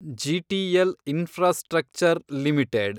GTL infrastructure limited